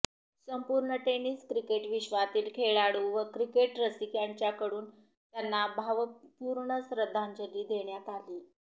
संपूर्ण tennis cricket विश्वातील खेळाडू व क्रिकेट रसिक यांच्याकडून त्यांना भावपूर्ण श्रद्धांजली देण्यात आली